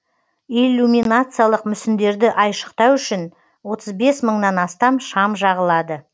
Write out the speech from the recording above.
иллюминациялық мүсіндерді айшықтау үшін отыз бес мыңнан астам шам жағылады